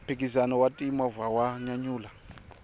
mphikizano wa ti movha wa nyanyula